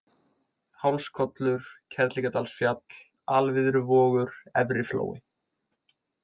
Hálskollur, Kerlingardalsfjall, Alviðruvogur, Efri flói